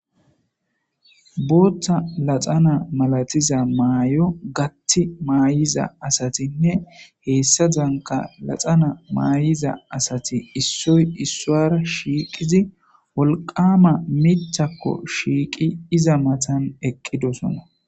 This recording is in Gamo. boottha laxana malatiza maay7o gatti maayiza asatinne heessa danka laxana maayiza asati issoy issuara shiiqizi wolqama mithakko shiiqi iza matan eqqidosona